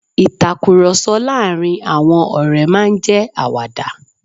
Ìtakùròsọ láàárín àwọn ọ̀ré máa n jẹ́ àwàdà